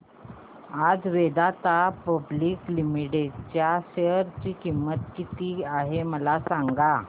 आज Vedanta public limited च्या share ची किंमत किती आहे मला सांगा